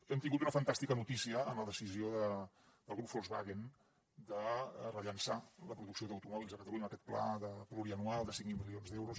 hem tingut una fantàstica notícia amb la decisió del grup volkswagen de rellançar la producció d’automòbils a catalunya amb aquest pla pluriennal de cinc mil milions d’euros